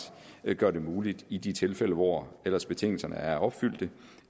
gør vi muligt i de tilfælde hvor ellers betingelserne er opfyldt